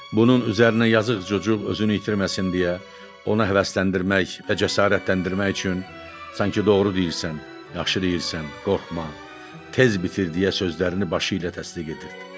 Bunun üzərinə yazıq çocuq özünü itirməsin deyə, ona həvəsləndirmək və cəsarətləndirmək üçün sanki doğru deyirsən, yaxşı deyirsən, qorxma, tez bitir deyə sözlərini başı ilə təsdiq etdi.